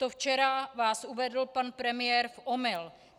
To včera vás uvedl pan premiér v omyl.